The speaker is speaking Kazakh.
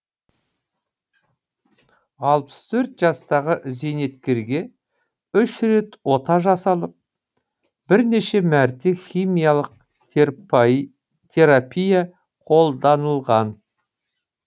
алпыс төрт жастағы зейнеткерге үш рет ота жасалып бірнеше мәрте химиялық терапия қолданылған